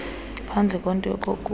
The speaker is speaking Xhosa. ngaphandleni kwento yokokuba